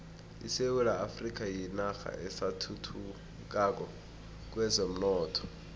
isewula afrika yinarha esathuthukako kwezomnotho